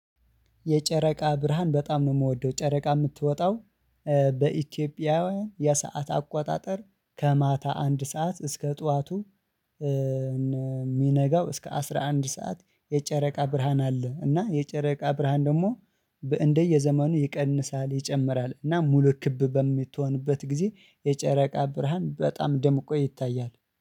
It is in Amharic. የጨረቃ ብርሃን በጣም ነው ምወደው ጨረቃ ምትወጣው። በኢትዮጵያውያን የሰዓት አቆጣጠር ከማታ አንድ ሰዓት እስከ ጠዋቱ። ሚነጋው እስከ አስራ አንድ ሰዓት የጨረቃ ብርሃን አለ። እና የጨረቃ ብርሃን ደሞ በእንደየዘመኑ ይቀንሳል ይጨምራል እና ሙሉ ክብ በምትሆንበት ጊዜ የጨረቃ ብርሃን በጣም ደምቆ ይታያል